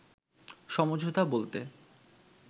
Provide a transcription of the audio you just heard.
“সমঝোতা বলতে